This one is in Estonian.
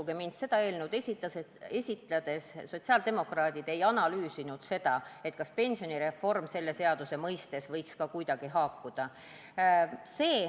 Uskuge mind, seda eelnõu esitades ei analüüsinud sotsiaaldemokraadid, kas pensionireform võiks sellega kuidagi haakuda.